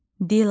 Dilarə.